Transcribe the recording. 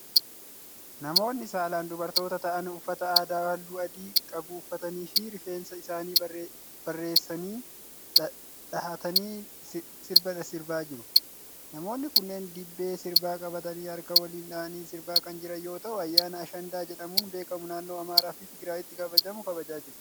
Namoonni saalan dubartoota ta'an uffata aadaa haalluu adii qabu uffatanii fi rifeensa isaanii bareessanii dhahatanii sirba sirbaa jiru. Namoonni kunneen dibbee sirbaa qabatanii harka waliin dhahanii sirbaa kan jiran yoo ta'u, ayyaana Ashandaa jedhamuun beekamu naannoo Amaaraa fi Tigraayitti kabajamu kabajaa jiru.